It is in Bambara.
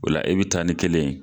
Ola i bi taa ni kelen ye.